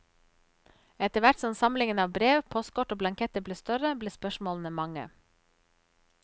Etter hvert som samlingen av brev, postkort og blanketter ble større, ble spørsmålene mange.